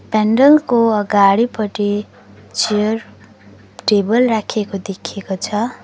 पण्डलको अगाडिपटि chair table राखिएको देखिएको छ।